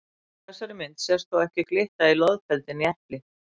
Á þessari mynd sést þó ekki glitta í loðfeldi né epli.